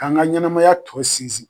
K'an ka ɲɛnɛmaya tɔ sinsin